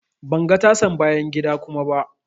Ban ga tasan bayan gida kuma ba.